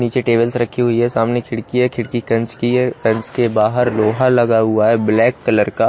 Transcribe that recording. नीचे टेबल्स रखी हुई है सामने खिड़की है खिड़की कंच की है कंच के बाहर लोहा लगा हुआ है ब्लैक कलर का।